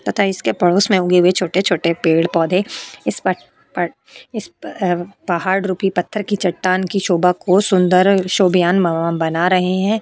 तथा इसके पड़ोस में उगे हुए छोटे-छोटे पेड़ पौधे इस पर पड़ इस प अअअ पहाड़ रुपी पत्थर की चट्टान की शोभा को सुंदर शोभयान म्मअ बना रहे हैं।